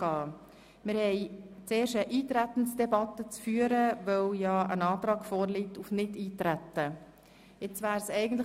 Wir führen zuerst eine Eintretensdebatte, weil ein Antrag auf Nichteintreten vorliegt.